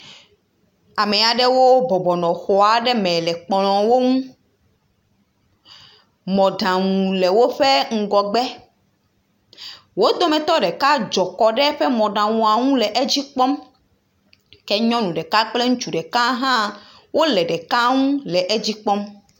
Ame aɖewo bɔbɔ nɔ xɔ aɖe me le kplɔ̃wo ŋu. Mɔɖaŋu le woƒe ŋgɔgbe. Wo dometɔ ɖeka dzɔ kɔ ɖe eƒe mɔɖaŋua ŋu le edzi kpɔm. Ke nyɔnu ɖeka kple ŋutsu ɖeka aɖe hã wole ɖeka ŋu le edzi kpɔm.